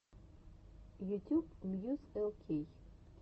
ютюб мьюз эл кей